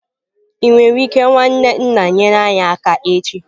Ị nwere ike nwanne nna nyere anyị aka echi?